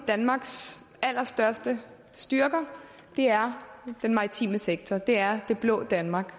danmarks allerstørste styrker er den maritime sektor det er det blå danmark